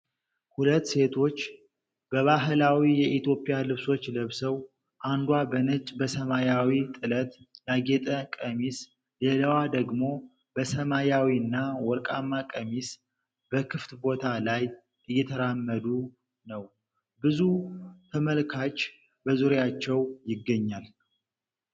ሁለት ሴቶች በባህላዊ የኢትዮጵያ ልብሶች ለብሰው፣ አንዷ በነጭ በሰማያዊ ጥለት ያጌጠ ቀሚስ፣ ሌላዋ ደግሞ በሰማያዊና ወርቃማ ቀሚስ፣ በክፍት ቦታ ላይ እየተራመዱ ነው። ብዙ ተመልካች በዙሪያቸው ይገኛል።